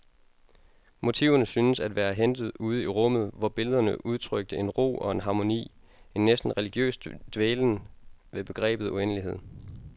Motiverne syntes at være hentet ude i rummet, hvor billederne udtrykte en ro og en harmoni, en næsten religiøs dvælen ved begrebet uendelighed.